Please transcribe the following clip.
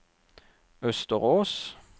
Østerås